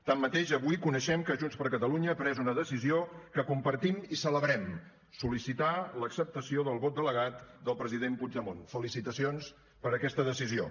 tanmateix avui coneixem que junts per catalunya ha pres una decisió que compartim i celebrem sol·licitar l’acceptació del vot delegat del president puigdemont felicitacions per aquesta decisió